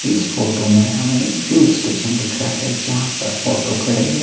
इस फोटो मे हमें एक फ्यूल स्टेशन दिख रहा है जहां पर ऑटो खड़े है।